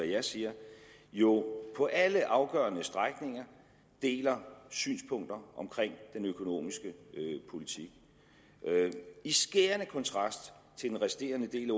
jeg siger jo på alle afgørende stræk deler synspunkter omkring den økonomiske politik i skærende kontrast til den resterende del af